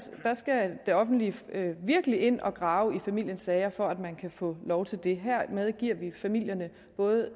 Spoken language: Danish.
det offentlige virkelig ind og grave i familiens sager for at man kan få lov til det hermed giver vi familierne både